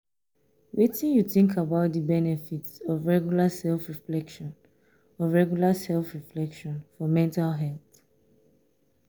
wetin you think about di benefits of regular self-reflection of regular self-reflection for mental health?